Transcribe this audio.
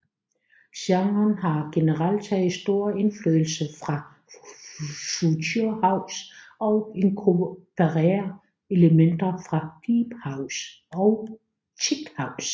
Genren har generelt taget stor indflydelse fra future house og inkorporerer elementer fra deephouse og techhouse